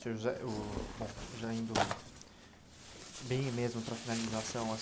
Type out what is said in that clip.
Senhor José. Bom, já indo bem mesmo para a finalização.